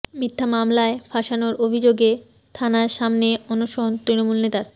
মিথ্যা মামলায় ফাঁসানোর অভিযোগে থানার সামনে অনশন তৃণমূল নেতার